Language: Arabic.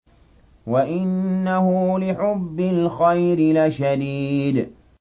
وَإِنَّهُ لِحُبِّ الْخَيْرِ لَشَدِيدٌ